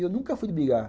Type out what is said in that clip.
E eu nunca fui brigar.